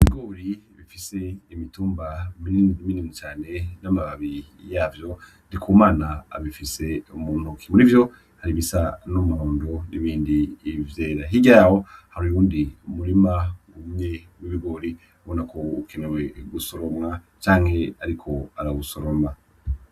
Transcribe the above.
Ibigori ibifise imitumba minini minini cane n'amababi yavyo. Ndikumana abifise mu ntoki. Muri vyo, hari ibisa n'umuhondo n'ibindi vyera. Hirya yaho, hari uwundi murima wumye w'ibigori ubonako ukenewe gusoromwa canke ariko arawusoroma.